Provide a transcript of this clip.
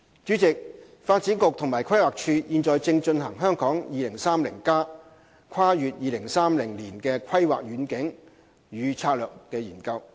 主席，發展局及規劃署現正進行《香港 2030+： 跨越2030年的規劃遠景與策略》研究。